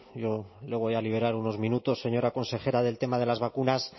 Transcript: yo le voy a liberar unos minutos señora consejera del tema de las vacunas